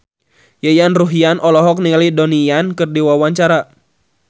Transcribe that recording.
Yayan Ruhlan olohok ningali Donnie Yan keur diwawancara